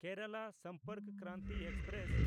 Kerala Sampark Kranti express